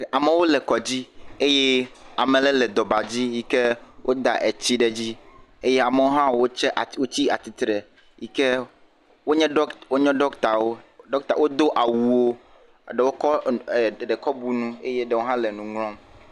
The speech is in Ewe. Amewo le kɔdzi eye ame ɖe le dɔbadzi yi ke woda etsi ɖe edzi eye amewo hã wotsa, wotsi atsitre yi ke wonye ɖɔki, wonye ɖɔkitawo. Ɖɔkita, wodo awuwo, eɖowo kɔ ɛɛ eɖe kɔ bu nu eye ɖewo hã le nu ŋlɔm.